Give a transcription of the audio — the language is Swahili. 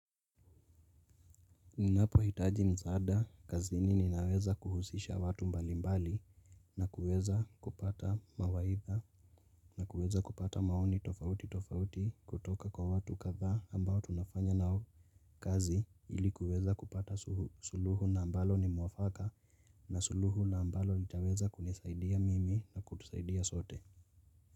Ninapo hitaji msaada kazini ninaweza kuhusisha watu mbali mbali na kuweza kupata mawaitha na kuweza kupata maoni tofauti tofauti kutoka kwa watu kathaa ambao tunafanya nao kazi ilikuweza kupata suluhu na ambalo ni muwafaka na suluhu na ambalo litaweza kunisaidia mimi na kutusaidia sote.